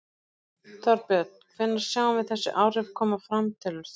Þorbjörn: Hvenær sjáum við þessi áhrif koma fram telur þú?